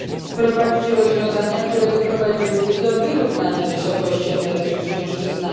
wprowadzić rozwiązania, które doprowadziłyby do wyrównania wysokości emerytur kobiet i mężczyzn.